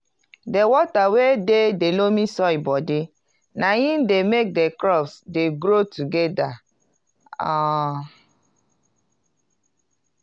di water wey dey de loamy soil bodi na im dey make di crops dey grow togeda um